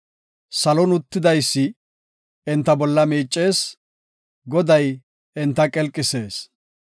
Salon uttidaysi enta bolla miicees; Goday enta qelqisees.